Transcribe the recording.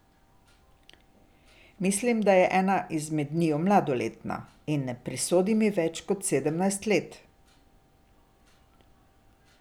Mislim, da je ena izmed njiju mladoletna, in ne prisodim ji več kot sedemnajst let.